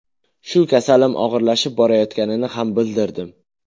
Shu kasalim og‘irlashib borayotganini ham bildirdim.